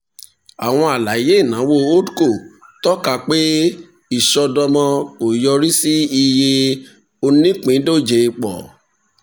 àwọn alaye ìnáwó holdcos tọ́ka pé ìṣọ́dọ̀mọ́ kò yorì sí iye onípíndójẹ pọ̀.